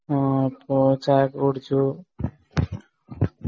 അആഹ് ഇപ്പൊ ചായയൊക്കെ കുടിച്ചു